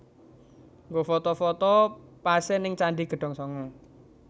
Nggo foto foto pase ning Candi Gedong Sanga